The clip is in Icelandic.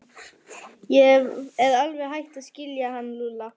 Ég er alveg hætt að skilja hann Lúlla.